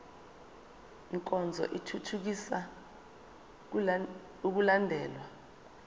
nkonzo ithuthukisa ukulandelwa